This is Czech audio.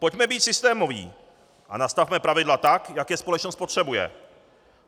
Pojďme být systémoví a nastavme pravidla tak, jak je společnost potřebuje.